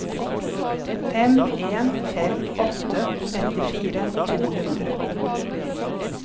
fem en fem åtte femtifire to hundre